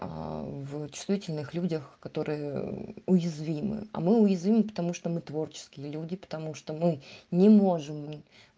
в чувствительных людях которые уязвимы а мы уязвимы потому что мы творческие люди потому что мы не можем